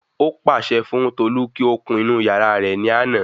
Ó pààsẹ fún Tolu kí ó kun inú yàrá rẹ̀ ní àná